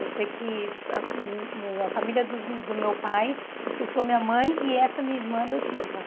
Eu sei que a uh uh a família dos do meu pai expulsou minha mãe e essa minha irmã adotiva.